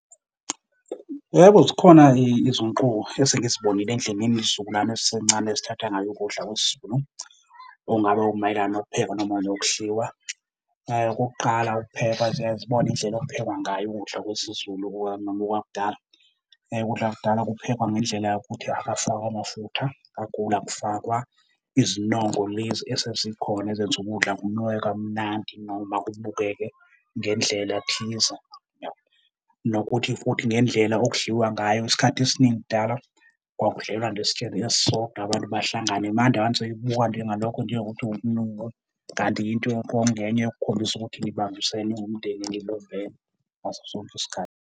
Yebo, zikhona izinguquko esengizibonile endleleni izizukulwane ezisencane ezithatha ngayo ukudla kwesiZulu okungaba okumayelana nokupheka noma nokudliwa. Okokuqala ukuphekwa ziye zibone indlela okuphekwa ngayo ukudla kwesiZulu noma kwakudala. Ukudla kwakudala kuphekwa ngendlela yokuthi akafakwa amafutha kakhulu, akufakwa izinongo lezi esezikhona ezenza ukudla kunuke kamnandi noma kubukeke ngendlela thize . Nokuthi futhi ngendlela okudliwa ngayo, isikhathi esiningi kudala kwakudlelwa nje esitsheni esisodwa abantu bahlangane. Manje abantu sebeyibuka njengalokho njengokuthi ubunuku kanti yinto kwakungenye yokukhombisa ukuthi nibambisene niwumndeni, nibumbene ngaso sonke isikhathi.